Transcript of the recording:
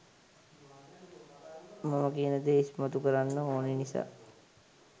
මම කියන දේ ඉස්මතු කරන්න ඕනි නිසා